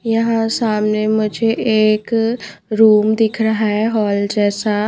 यहां सामने मुझे एक रूम दिख रहा है हॉल जैसा--